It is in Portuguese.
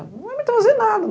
Não vai me trazer nada.